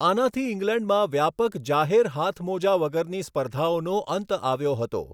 આનાથી ઇંગ્લેન્ડમાં વ્યાપક જાહેર હાથમોજા વગરની સ્પર્ધાઓનો અંત આવ્યો હતો.